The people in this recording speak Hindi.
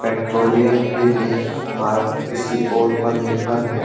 पेट्रोलियम के लिए भारत किसी और पर निर्भर है।